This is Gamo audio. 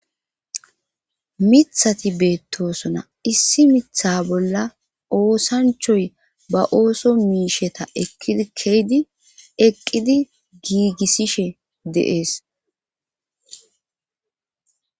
Mithati beettoosona issi mitha bolla oosanchoy ba ooso miisheta eydieqqidi giigissishe deees.